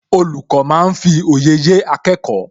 Olùkọ́ máa ń fi òye yé akẹ́kọ̀ọ́